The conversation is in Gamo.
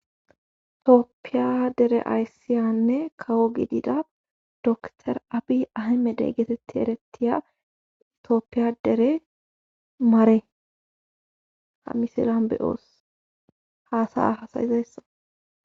Tooppiya dere ayssiyanne kawo gidida dor abi ahi medey geetetti erettiya itooppiyadere maare ha misilan be'oos haasaya hasayizayssa.